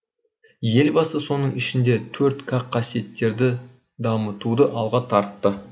елбасы соның ішінде төрт к қасиеттерді дамытуды алға тартты